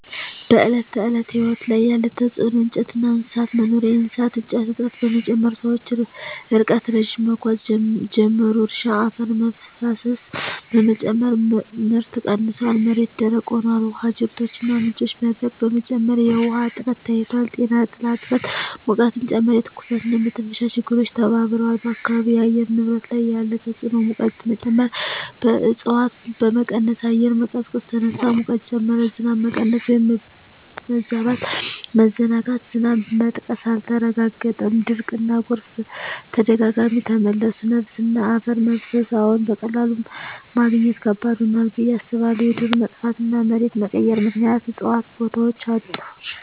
በዕለት ተዕለት ሕይወት ላይ ያለ ተጽዕኖ እንጨትና እንስሳት መኖሪያ የእሳት እንጨት እጥረት በመጨመር ሰዎች ርቀት ረዥም መጓዝ ጀመሩ። እርሻ አፈር መፍሰስ በመጨመር ምርት ቀንሷል፣ መሬት ደረቅ ሆኗል። ውሃ ጅረቶችና ምንጮች መድረቅ በመጨመር የውሃ እጥረት ታይቷል። ጤና ጥላ እጥረት ሙቀትን ጨመረ፣ የትኩሳትና የመተንፈሻ ችግሮች ተባብረዋል። በአካባቢው የአየር ንብረት ላይ ያለ ተጽዕኖ ሙቀት መጨመር እፅዋት በመቀነስ አየር መቀዝቀዝ ተነሳ፣ ሙቀት ጨመረ። ዝናብ መቀነስ/መበዛት መዘናጋት ዝናብ መጥቀስ አልተረጋገጠም፣ ድርቅና ጎርፍ በተደጋጋሚ ተመለሱ። ነፋስና አፈር መፍሰስ አዎን፣ በቀላሉ ማግኘት ከባድ ሆኗል ብዬ አስባለሁ። የዱር መጥፋትና መሬት መቀየር ምክንያት እፅዋት ቦታቸውን አጡ።